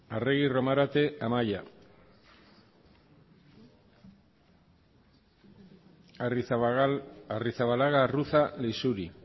arregi romarate amaia arrizabalaga arruza leixuri